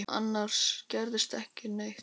Annars gerðist ekki neitt.